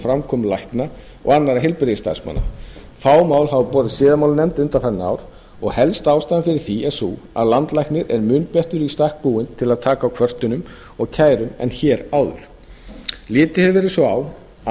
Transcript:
framkomu lækna og annarra heilbrigðisstarfsmanna fá mál hafa borist til siðamáladeildar undanfarin ár helsta ástæðan fyrir því er sú að landlæknir er mun betur í stakk búinn til að taka á kvörtunum og kærum en hér áður litið hefur verið svo á að